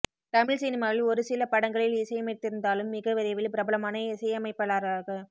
தமிழ் சினிமாவில் ஒரு சில படங்களில் இசையமைத்திருந்தாலும் மிக விரைவில் பிரபலமான இசையமைப்பாளராக